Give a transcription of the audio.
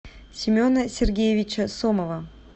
семена сергеевича сомова